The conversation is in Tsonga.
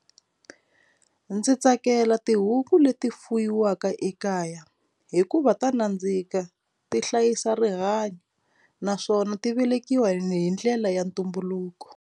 Ndzi tsakela tihuku leti fuyiwaka ekaya hikuva ta nandzika ti hlayisa rihanyo naswona ti velekiwa hi hi ndlela ya ntumbuluko.